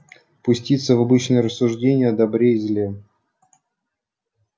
пуститься в обычные рассуждения о добре и зле